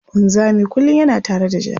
Wanzami kullum yana tare da jaka.